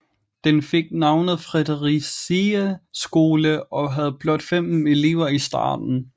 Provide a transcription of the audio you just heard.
Den fik navnet Fredericiæ Skole og havde blot 15 elever i starten